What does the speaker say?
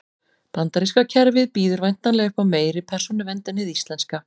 Bandaríska kerfið býður væntanlega upp á meiri persónuvernd en hið íslenska.